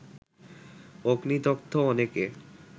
অগ্নিদগ্ধ অনেকে